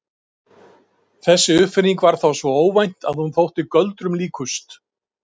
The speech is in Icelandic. Þessi uppfinning var þá svo óvænt að hún þótti göldrum líkust.